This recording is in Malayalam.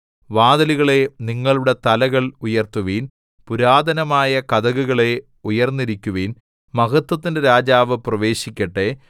വാതിലുകളേ നിങ്ങളുടെ തലകൾ ഉയർത്തുവിൻ പുരാതനമായ കതകുകളേ ഉയർന്നിരിക്കുവിൻ മഹത്വത്തിന്റെ രാജാവ് പ്രവേശിക്കട്ടെ